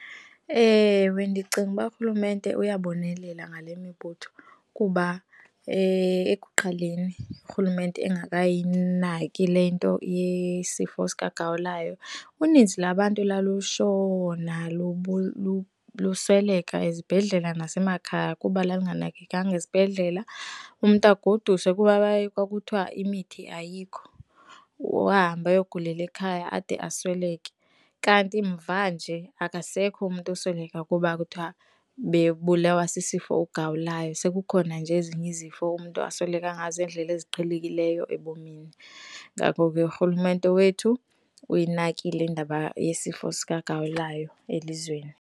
Ewe, ndicinga uba urhulumente uyabonelela ngale mibutho kuba ekuqaleni urhulumente engakayinaki le nto yesifo sikagawulayo, uninzi lwabantu lalushona lusweleka ezibhedlela nasemakhaya kuba lwalunganakekelwanga esibhedlela, umntu agoduswe kuba kwakuthiwa imithi ayikho ahambe ayogulela ekhaya ade asweleke. Kanti mvanje akasekho umntu osweleka kuba kuthiwa bebulawa sisifo ugawulayo. Sekukhona nje ezinye izifo umntu asweleka ngazo, iindlela eziqhelekileyo ebomini. Ngako ke, urhulumente wethu uyinakile indaba yesifo sikagawulayo elizweni.